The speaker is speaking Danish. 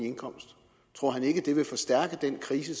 indkomst vil det forstærke den krise